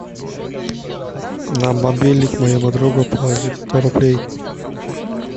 на мобильник моему другу положить сто рублей